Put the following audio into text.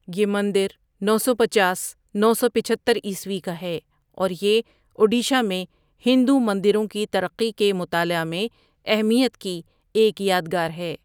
یہ مندر نو سو پنچاس ۔ نو سو پچہتر عیسوی کا ہے اور یہ اوڈیشہ میں ہندو مندروں کی ترقی کے مطالعہ میں اہمیت کی ایک یادگار ہے۔